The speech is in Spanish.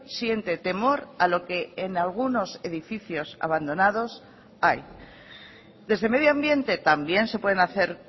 siente temor a lo que en algunos edificios abandonados hay desde medio ambiente también se pueden hacer